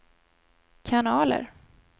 kanaler